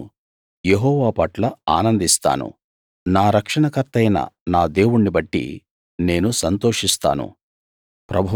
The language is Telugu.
నేను యెహోవా పట్ల ఆనందిస్తాను నా రక్షణకర్తయైన నా దేవుణ్ణి బట్టి నేను సంతోషిస్తాను